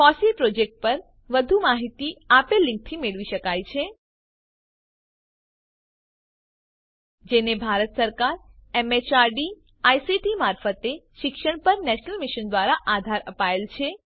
FOSSEE project પર વધુ માહિતી આપેલ લીંકથી મેળવી શકાય છે httpfosseein અથવા httpscilabin જેને ભારત સરકાર એમએચઆરડી આઈસીટી મારફતે શિક્ષણ પર નેશનલ મિશન દ્વારા આધાર અપાયેલ છે